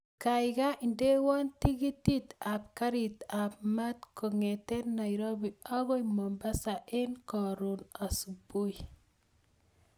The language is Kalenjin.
Kaikai indewon tiketit ab garit ab maat kongeten nairobi akoi mombasa en korun subui